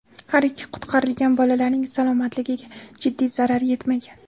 Har ikki qutqarilgan bolalarning salomatligiga jiddiy zarar yetmagan.